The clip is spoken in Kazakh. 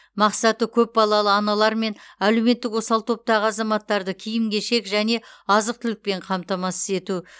мақсаты көпбалалы аналар мен әлеуметтік осал топтағы азаматтарды киім кешек және азық түлікпен қамтамасыз ету